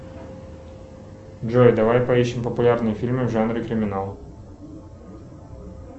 джой давай поищем популярные фильмы в жанре криминал